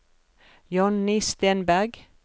Jonny Stenberg